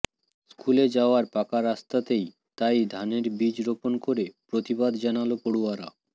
স্কুলে যাওয়ার পাকা রাস্তাতেই তাই ধানের বীজ রোপন করে প্রতিবাদ জানাল পড়ুয়ারা